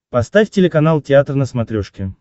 поставь телеканал театр на смотрешке